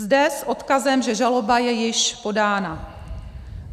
Zde s odkazem, že žaloba je již podána.